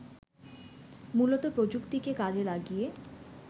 মূলত প্রযুক্তিকে কাজে লাগিয়ে